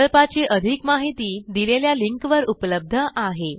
प्रकल्पाची अधिक माहिती दिलेल्या लिंकवर उपलब्ध आहे